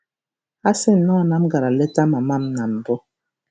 A sị nnọọ na m gara leta mama m na mbụ. '